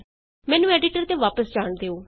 ਮੈਨੂੰ ਐਡੀਟਰ ਤੇ ਵਾਪਸ ਜਾਣ ਦਿਉ